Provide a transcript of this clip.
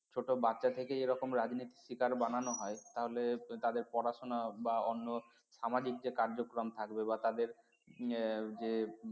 ছোট বাচ্চা থেকে এরকম রাজনীতির শিকার বানানো হয় তাহলে তাদের পড়াশোনা বা অন্য সামাজিক যে কার্যক্রম থাকবে বা তাদের যে